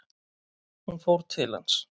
Hún fór til hans.